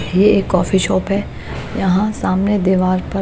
ये एक coffee shop है यहां सामने देवाल पर--